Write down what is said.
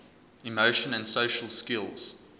emotion and social skills